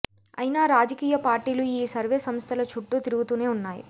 అయినా రాజకీయ పార్టీలు ఈ సర్వే సంస్థల చుట్టూ తిరుగుతూనే వున్నాయి